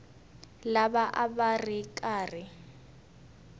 lava a va ri karhi